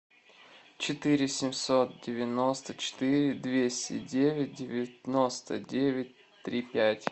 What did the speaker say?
четыре семьсот девяносто четыре двести девять девяносто девять три пять